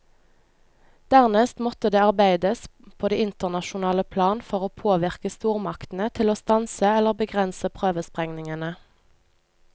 Dernest måtte det arbeides på det internasjonale plan for å påvirke stormaktene til å stanse eller begrense prøvesprengningene.